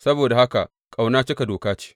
Saboda haka ƙauna cika Doka ce.